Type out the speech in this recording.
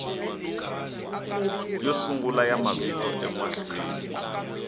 yo sungula ya mavito emahlweni